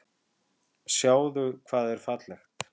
Sjáðu hvað er fallegt.